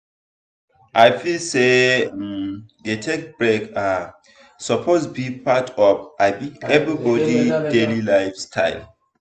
i feel say um to dey take break um suppose be part of um everybody daily lifestyle.